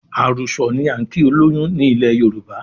Àrùsọ̀ ni á ń kí olóyún ni ilẹ̀ Yorùbá